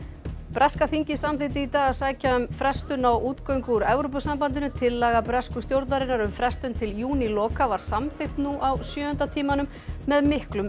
breska þingið samþykkti í dag að sækja um frestun á útgöngu úr Evrópusambandinu tillaga bresku stjórnarinnar um frestun til júníloka var samþykkt nú á sjöunda tímanum með miklum